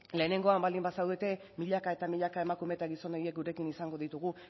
lehenengoan baldin bazaudete milaka eta milaka emakume eta gizon horiek gurekin izango ditugu